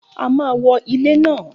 A máa wo ilẹ̀ náà